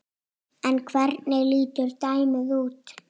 En hvernig lítur dæmið út?